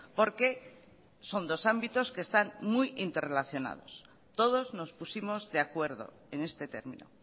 porque son dos ámbitos que están muy interrelacionados todosnos pusimos de acuerdo en este término